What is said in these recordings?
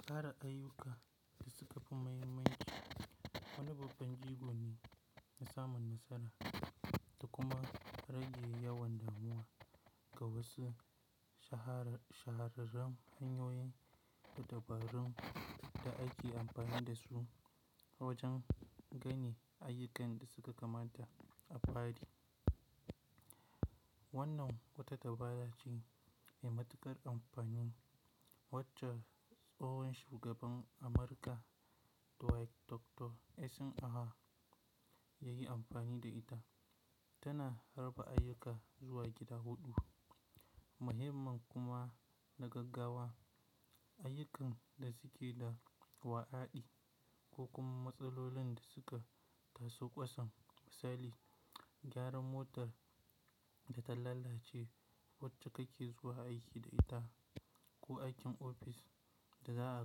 Kara ayyuka da suka fi muhimmanci. Wani babban jigo ne na samun nasara da kuma rage yawan damuwa ga wasu shahararrun hanyoyin da dabarun da ake amfani da su wajen gane ayyukan da suka kamata a bari. Wannan wata dabara ce mai matuƙar amfanin wacce tsohon shugaban Amurka Dwight D. Eisenhower ya yi amfani da ita. Tana harba ayyuka zuwa gida huɗu. Muhimman kuma na gaggawa ayyukan da suke da wa'aɗi ko kuma matsalolin da suka taso kwasam. Misali, gyaran motar da ta lalace wacce kake zuwa aiki da ita ko aikin ofis da za a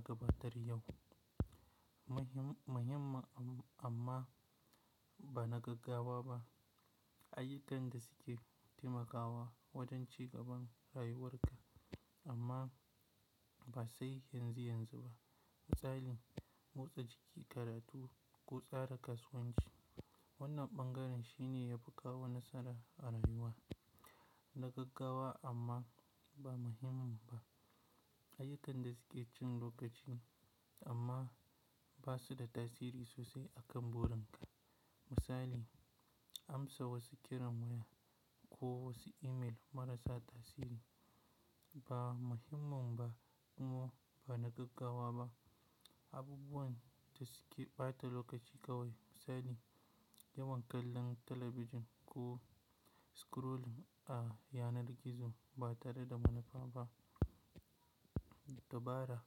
gabatar yau. Muhimman amma ba na gaggawa ba ayyukan da suke taimakawa wajen cigaban rayuwarka amma ba sai yanzu yanzu ba. Misali, motsa jiki, karatu ko tsara kasuwanci. Wannan ɓangaren shine ya fi kawo nasara a rayuwa. Na gaggawa amma ba muhimman ba ayyukan da suke cin lokaci amma ba su da tasiri sosai a kan burin ka. Misali, amsa wasu kiran waya ko wasu email marasa tasiri. Ba muhimman ba kuma ba na gaggawa ba abubuwan da suke ɓata lokaci kawai. Misali, yawan kallon talabijin ko scrolling a yanar gizo ba tare da manufa ba. Dabara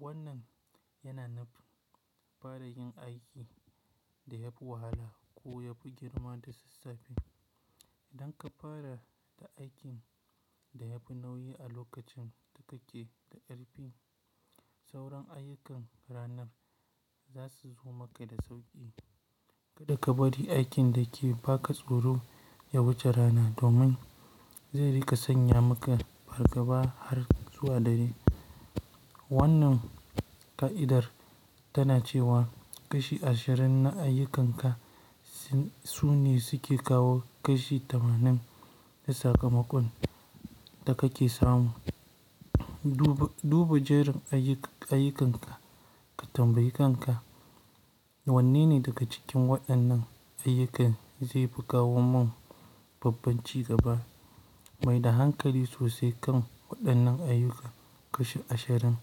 wannan yana nufin fara yin aiki da yafi wahala ko yafi girma da sassafe. Idan ka fara da aikin da yafi nauyi a lokacin da kake da ƙarfi, sauran ayyukan ranar za su zo maka da sauƙi. Kada ka bari aikin da ke baka tsoro ya wuce rana domin zai rika sanya maka fargaba har zuwa dare. Wannan ƙa'idar tana cewa kashi ashirin na ayyukanka sune suke kawo kashi tamanin na sakamakon da kake samu. Duba jerin ayyukanka ka tambayi kanka, "Wanne ne daga cikin waɗannan ayyukan zai fi kawo min babban cigaba?" Maida hankali sosai kan waɗannan ayyuka kashi ashirin.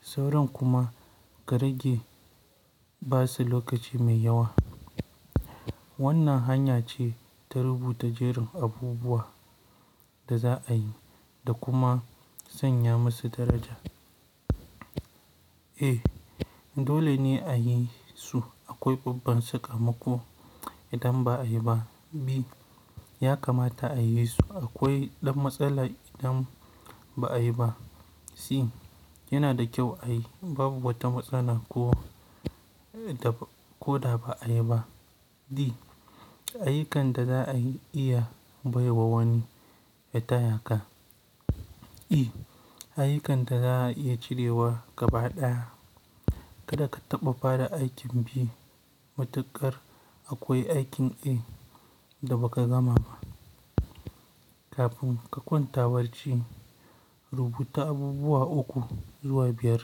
Sauran kuma ka rage ba su lokaci mai yawa. Wannan hanya ce ta rubuta jerin abubuwan da za a yi da kuma sanya masu daraja. A. Dole ne a yi su akwai babban sakamako idan ba a yi ba. B. Ya kamata a yi su akwai ɗan matsala idan ba a yi ba. C. Yana da kyau a yi babu bata matsala ko da ba a yi ba. D. Ayyukan da za a iya bai wa wani ya taya ka. E. Ayyukan da za a iya cirewa gaba ɗaya. Kada ka taɓa fara aikin B matuƙar akwai aikin A da ba ka gama ba. Kafin ka kwanta barci rubuta abubuwa uku zuwa biyar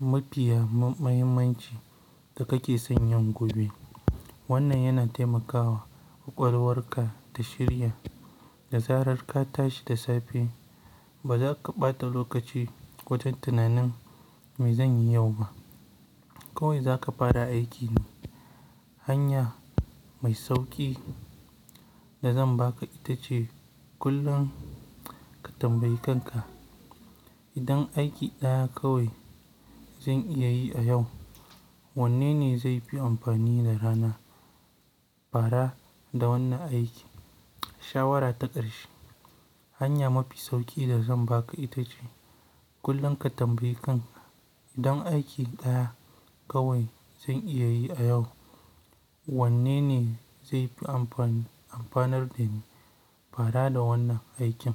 mafiya muhimmanci da kake sanyan gobe. Wannan yana taimakawa ƙwaƙwalwarka ta shirya. Da zarar ka tashi da safe ba za ka ɓata lokaci wajen tunanin, "Me zan yi yau ma?" Kawai za ka fara aiki. Hanya mai sauƙi da zan baka ita ce kullum ka tambayi kanka, "idan aiki ɗaya kawai zan iya yi a yau, wanne ne zai fi amfani da rana. Fara da wannan aikin?" Shawara ta ƙarshe, hanya mafi sauƙi da zan baka ita ce kullum ka tambayi kan ka, "idan aiki ɗaya kawai zan iya yi a yau, wanne ne zai fi amfanar da ni fara da wannan aikin?"